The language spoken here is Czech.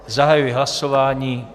Zahajuji hlasování.